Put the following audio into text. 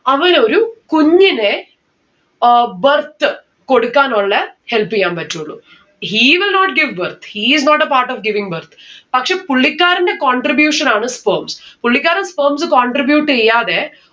അവൻ ഒരു കുഞ്ഞിനെ ഏർ birth കൊടുക്കാനുള്ളേ help എയ്യാൻ പറ്റുള്ളൂ. he will not give birth. he is not a part of giving birth പക്ഷെ പുള്ളിക്കാരന്റെ contribution ആണ് sperms പുള്ളിക്കാരൻ sperms contribute എയ്യാതെ